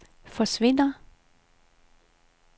forsvinder